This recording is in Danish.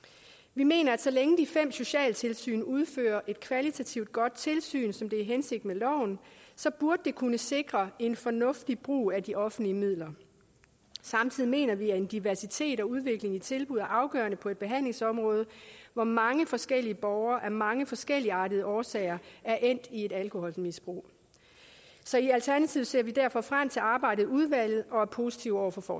vi mener at så længe de fem socialtilsyn udfører et kvalitativt godt tilsyn som det er hensigten loven så burde det kunne sikre en fornuftig brug af de offentlige midler samtidig mener vi at en diversitet og udvikling i tilbuddene er afgørende for et behandlingsområde hvor mange forskellige borgere af mange forskelligartede årsager er endt i et alkoholmisbrug så i alternativet ser vi derfor frem til arbejdet i udvalget og er positive over for